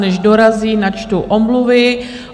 Než dorazí, načtu omluvy.